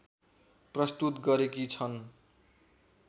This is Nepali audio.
प्रस्तुत गरेकी छन्